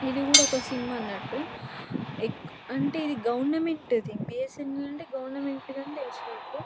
ఇది కూడా ఒక సిమ్ అనటు ఎక్- అంటే ఇది గవర్నమెంట్ది బి ఎస్ యెన్ ఎల్ అంటే గవర్నమెంట్ దని తెలుసు నాకు.